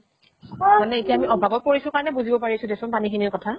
মানে এতিয়া আমি অভাবত পৰিছো কাৰণে বুজিব পাৰিছো দে চোন পানী খিনিৰ কথা